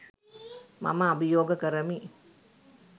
මම අභියෝග කරමි.